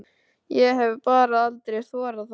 Ég hef bara aldrei þorað það.